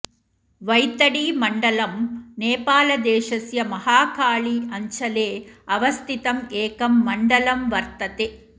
वैतडीमण्डलम् नेपालदेशस्य महाकाली अञ्चले अवस्थितं एकं मण्डलं वर्तते